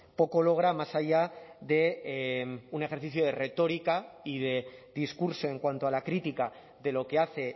poco logra más allá de un ejercicio de retórica y de discurso en cuanto a la crítica de lo que hace